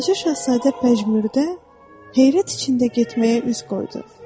Balaca Şahzadə pəjmürdə, heyrət içində getməyə üz qoydu.